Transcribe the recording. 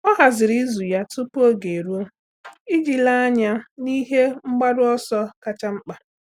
Ọ́ hàzị̀rị̀ ìzù ya tupu oge érúọ iji léé ányá n’ihe mgbaru ọsọ kacha mkpa.